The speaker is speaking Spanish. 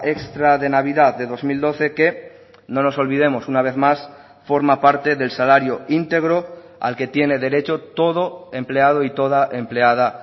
extra de navidad de dos mil doce que no nos olvidemos una vez más forma parte del salario íntegro al que tiene derecho todo empleado y toda empleada